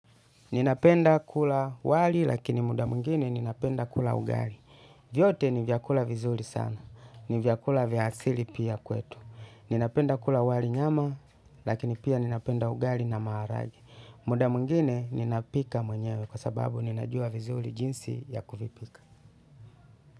Ninapenda kula wali lakini muda mwingine ninapenda kula ugali. Vyote ni vyakula vizuri sana. Ni vyakula vya asili pia kwetu. Ninapenda kula wali nyama lakini pia ninapenda ugali na maharage. Muda mwingine ninapika mwenyewe kwa sababu ninajua vizuri jinsi ya kuvipika.